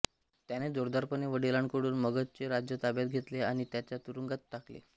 त्याने जोरदारपणे वडिलांकडून मगधचे राज्य ताब्यात घेतले आणि त्याला तुरूंगात टाकले